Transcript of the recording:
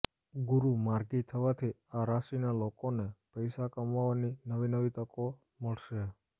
ગુરુ માર્ગી થવાથી આ રાશિના લોકોને પૈસા કમાવવાની નવી નવી તકો મળશે